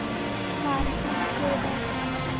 cartoon show दाखव